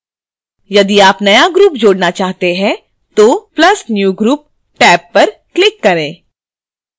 यदि आप नया group जोडना चाहते हैं तो + new group टैब पर click करें